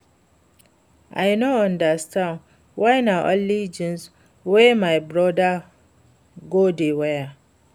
I no understand why na only jeans wey my broda go dey wear